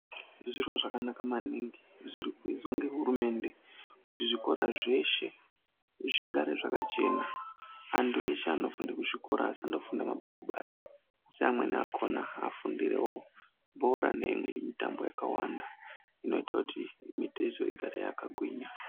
Zviro zvakanaka maningi zvirikuizwa nehurumende kuti zvikora zveshe zvigare zvakachena antu eshe anofunde kuzvikora asafumda mabhuku basi asi amweni akona afundirewo bhora nemitambo yakawanda inoite kuti mitezo igare yakagwinya.